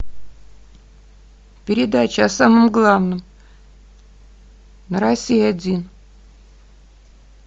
передача о самом главном на россия один